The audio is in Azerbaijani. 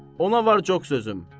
Ona var çox sözüm.